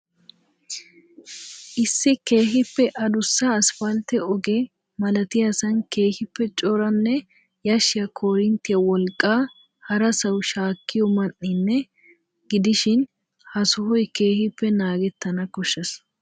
Issi keehiippe addussa asphaltte oge malattiyaasaan keehiippe coranne yashshiya korinttiya wolqqaa harassawu shaakkiyo ma'ninne gidishin ha sohoy keehiippe naagettana koshshees.